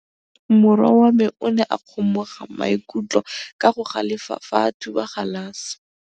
Morwa wa me o ne a kgomoga maikutlo ka go galefa fa a thuba galase.